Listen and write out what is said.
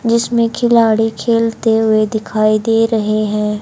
जिसमें खिलाड़ी खेलते हुए दिखाई दे रहे हैं।